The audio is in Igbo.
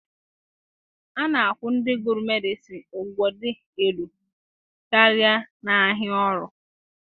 A na-akwụ ndị gụrụ Medịsịn ụgwọ dị elu karịa n'ahịa ọrụ.